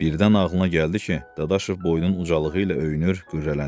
Birdən ağlına gəldi ki, Dadaşov boynun ucalığı ilə öyünür, qürrələnir.